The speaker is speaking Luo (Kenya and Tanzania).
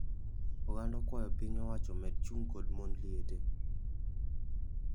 Oganda okawayo piny owacho omed chung kod mond liete